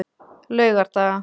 laugardaga